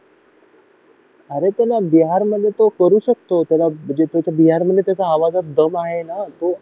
अरे त्याला बिहारमध्ये तो करू शकतो त्याला म्हणजे बिहार मध्ये त्याच्या आवाजात दम आहे ना